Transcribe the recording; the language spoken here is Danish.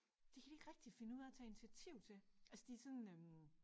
Det kan de ikke rigtig finde ud af at tage initiativ til altså de er sådan øh